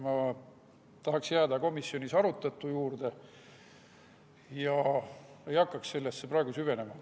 Ma tahaksin jääda komisjonis arutatu juurde ega hakka sellesse süvenema.